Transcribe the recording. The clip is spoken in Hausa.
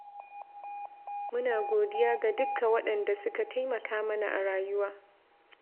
Muna godiya ga dukka waɗanda suka taimaka mana a rayuwa